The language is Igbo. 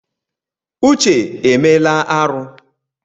Uche emela arụ.